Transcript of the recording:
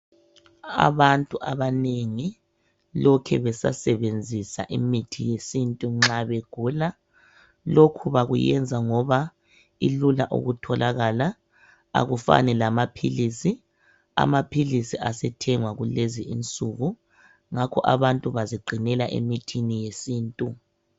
Abantu abanengi lokhe bezasebenzisa imithi yesintu nxa begula. Lokhu bakuyenza ngoba ilula ukutholakala akufani lamaphilisi. Amaphilisi asethengwa kulezinsuku. Ngakho abantu baziqinela emithini yesintu